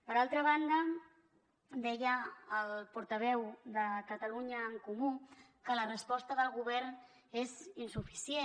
per altra banda deia el portaveu de catalunya en comú que la resposta del govern és insuficient